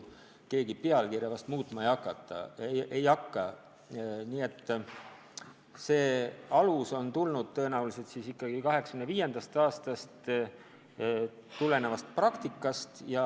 Keegi pealkirja muutma ei hakka ja see tuleneb tõenäoliselt ikkagi 1985. aasta praktikast.